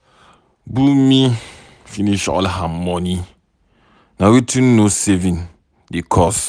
Bunmi finish all her money, na wetin no saving dey cause.